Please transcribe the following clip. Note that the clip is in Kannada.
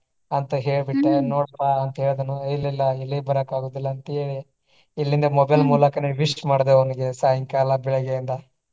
ಅಂತ ಹೇಳಿ ಬಿಟ್ಟ ನೋಡ್ರಿಪಾ ಅಂತ ಹೇಳಿದೆನು ಇಲ್ಲಾ ಇಲ್ಲಾ ಎಲ್ಲಿಗೂ ಬರಾಕ ಆಗುದಿಲ್ಲಾ ಅಂತ ಹೇಳಿ ಇಲ್ಲಿಂದ mobile ಮೂಲಕನೇ wish ಮಾಡಿದೆ ಅವನಗೆ ಸಾಯಂಕಾಲ ಬೆಳ್ಳಗೆ ಎಲ್ಲಾ.